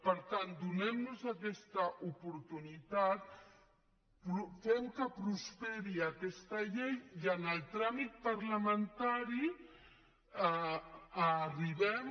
per tant donem nos aquesta oportunitat fem que prosperi aquesta llei i en el tràmit parlamentari arribem